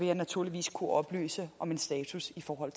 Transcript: jeg naturligvis kunne oplyse om en status i forhold